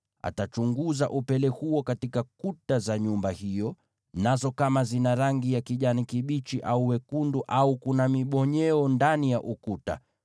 Atachunguza upele huo katika kuta za nyumba hiyo, nazo kama zina rangi ya kijani kibichi au wekundu, na kuna mibonyeo ndani ya ukuta,